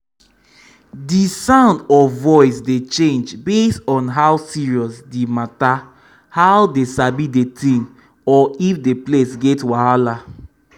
the sound of voice dey change base on how serious the matterhow dey sabi the thing or if the place get wahala um